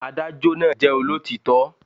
Adájó náà jẹ́ olótítọ́